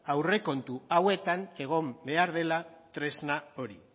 aurrekontu hauetan egon behar dela tresna hori